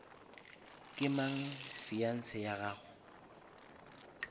ke mang fiance ya gago